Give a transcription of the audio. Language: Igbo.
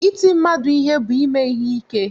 Iti mmadụ ihe bụ ime ihe ike